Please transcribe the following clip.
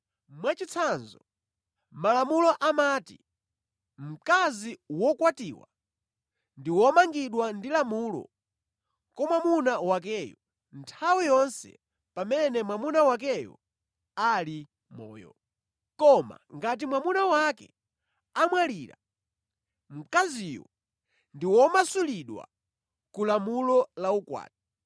Mwachitsanzo, Malamulo amati mkazi wokwatiwa ndi womangidwa ndi lamulo kwa mwamuna wakeyo nthawi yonse pamene mwamuna wakeyo ali moyo. Koma ngati mwamuna wake amwalira, mkaziyo ndi womasulidwa ku lamulo la ukwati.